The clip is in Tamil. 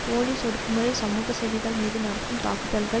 போலீஸ் ஒடுக்குமுறை சமூக சேவைகள் மீது நடக்கும் தாக்குதல்கள்